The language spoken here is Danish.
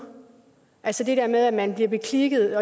altså det der med at man bliver beklikket